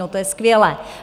No to je skvělé!